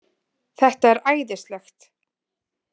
Þetta er æðislegt